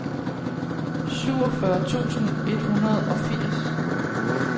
syvogfyrre tusind et hundrede og firs